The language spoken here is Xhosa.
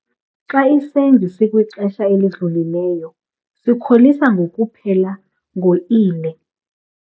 Xa isenzi sikwixesha elidlulileyo sikholisa ngokuphela ngo-ile.